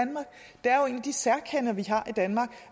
de særkender vi har i danmark